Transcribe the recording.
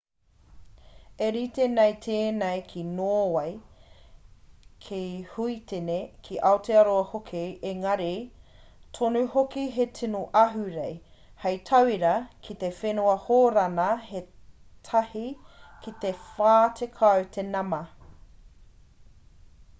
i rite nei tēnei ki nōwei ki huitene ki aotearoa hoki engari tonu hoki he tino ahurei hei tauira ki te whenua hōrana he tahi ki te whā tekau te nama